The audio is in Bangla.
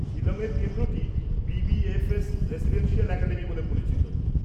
শিলং-এর কেন্দ্রটি বি.বি.এফ.এস রেসিডেন্সিয়াল অ্যাকাডেমি বলে পরিচিত।